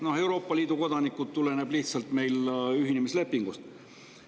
Noh, Euroopa Liidu kodanike tuleneb lihtsalt ühinemislepingust.